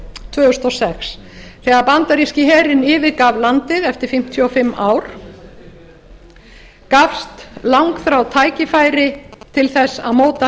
tvö þúsund og sex þegar bandaríski herinn yfirgaf landið eftir fimmtíu og fimm ár gafst langþráð tækifæri til þess að móta